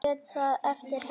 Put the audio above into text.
Ég lét það eftir henni.